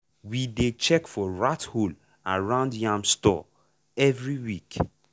we dey check for rat hole around yam store every week.